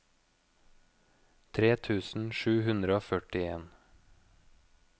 tre tusen sju hundre og førtien